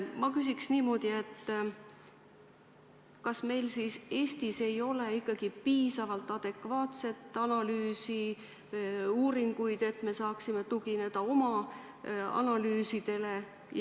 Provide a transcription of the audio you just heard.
Ma küsiks niimoodi: kas meil Eestis ei ole siis piisavalt adekvaatset analüüsi, uuringuid, et saaksime tugineda nendele?